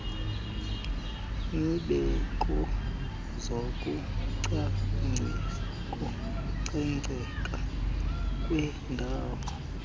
neemeko zokucoceka kwendawo